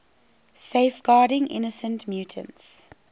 safeguarding innocent mutants